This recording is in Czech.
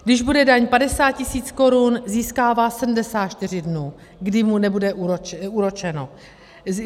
Když bude daň 50 tisíc korun, získává 74 dnů, kdy mu nebude úročeno.